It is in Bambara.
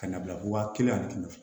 Ka na bila waa kelen ani kɛmɛ duuru